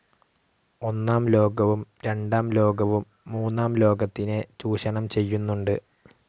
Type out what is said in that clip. ഒന്നാം ലോകവും രണ്ടാം ലോകവും മൂന്നാം ലോകത്തിനെ ചൂഷണം ചെയ്യുന്നുണ്ട്.